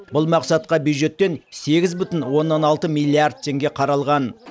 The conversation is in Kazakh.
бұл мақсатқа бюджеттен сегіз бүтін оннан алты миллард теңге қаралған